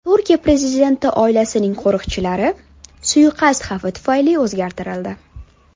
Turkiya prezidenti oilasining qo‘riqchilari suiqasd xavfi tufayli o‘zgartirildi.